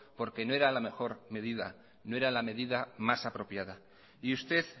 porque no era la mejor medida no era la medida más apropiada y usted